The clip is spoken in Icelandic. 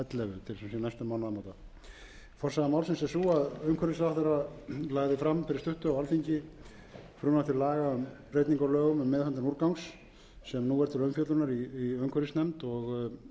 ellefu til sem sé næstu mánaðamóta forsaga málsins er sú að umhverfisráðherra lagði fram fyrir stuttu á alþingi frumvarp til laga um breytingu á lögum um meðhöndlun úrgangs sem nú er til umfjöllunar í umhverfisnefnd og